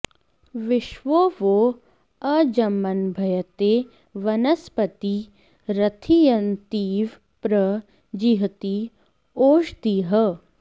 विश्वो॑ वो॒ अज्म॑न्भयते॒ वन॒स्पती॑ रथी॒यन्ती॑व॒ प्र जि॑हीत॒ ओष॑धिः